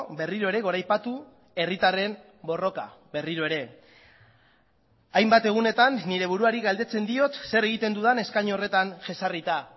berriro ere goraipatu herritarren borroka berriro ere hainbat egunetan nire buruari galdetzen diot zer egiten dudan eskainu horretan jesarrita